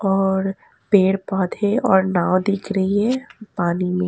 और पेड़ पौधे और नाव दिख रही है पानी में।